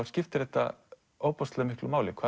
skiptir þetta ofboðslega miklu máli hvað